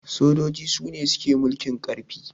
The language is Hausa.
sojoji Sune suke mulkin karfi